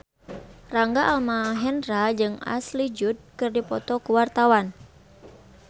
Rangga Almahendra jeung Ashley Judd keur dipoto ku wartawan